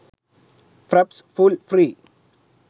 fraps full free